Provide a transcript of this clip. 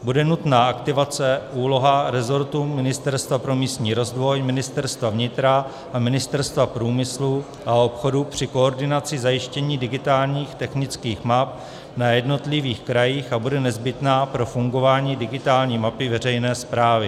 Bude nutná aktivace úlohy rezortu Ministerstva pro místní rozvoj, Ministerstva vnitra a Ministerstva průmyslu a obchodu při koordinace zajištění digitálních technických map na jednotlivých krajích a bude nezbytná pro fungování digitální mapy veřejné správy.